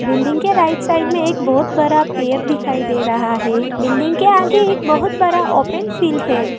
Building के right side में एक बहोत बरा पेर दिखाई दे रहा है बिल्डिंग के आगे एक बहोत बरा ओपन फील्ड है।